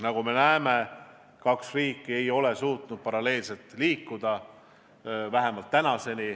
Nagu me näeme, kaks riiki ei ole suutnud paralleelselt liikuda, vähemalt seni.